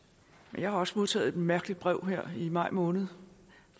jeg har også modtaget et mærkeligt brev her i maj måned